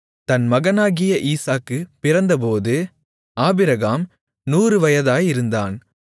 தன் மகனாகிய ஈசாக்கு பிறந்தபோது ஆபிரகாம் 100 வயதாயிருந்தான்